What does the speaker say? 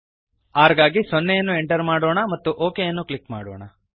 rಗಾಗಿ 0 ಅನ್ನು ಎಂಟರ್ ಮಾಡೋಣ ಮತ್ತು ಒಕ್ ಕ್ಲಿಕ್ ಮಾಡೋಣ